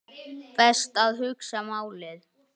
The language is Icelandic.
Hvorki í gemsann né heima.